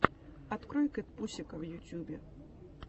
открой кэтпусика в ютьюбе